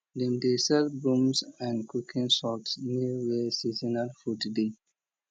dem dey sell brooms and cooking salt near where seasonal food dey